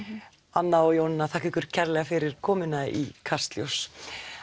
Anna og Jónína þakka ykkur kærlega fyrir komuna í Kastljós